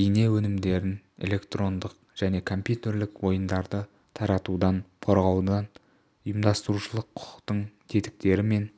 бейне өнімдерін электрондық және компьютерлік ойындарды таратудан қорғаудың ұйымдастырушылық-құқықтық тетіктері мен